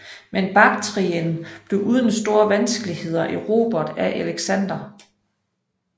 Men Baktrien blev uden store vanskeligheder erobret af Alexander